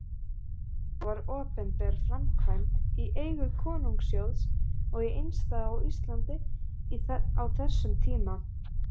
Þetta var opinber framkvæmd í eigu konungssjóðs og einstæð á Íslandi á þessum tíma.